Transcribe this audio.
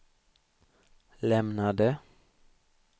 lämnade